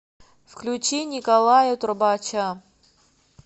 включи николая трубача